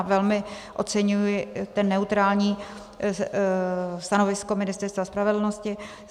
A velmi oceňuji to neutrální stanovisko Ministerstva spravedlnosti.